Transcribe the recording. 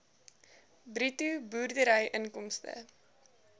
bruto boerderyinkomste